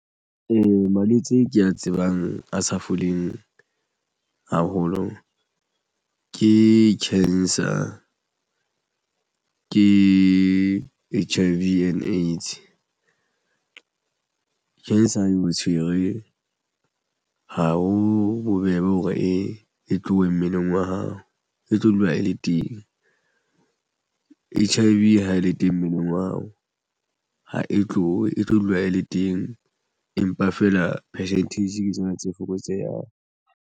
Malwetse ke a tsebang a sa foleng haholo ke cancer ke H_I_V and AIDS. Cancer eo tshwerwe ha ho bobebe hore e tlohe mmeleng wa hao e tlo dula e le teng H_I_V ha e le teng mono no wa hao ha e tlohe e tlo dula e le teng empa feela percentage ke tsona tse fokotseyang.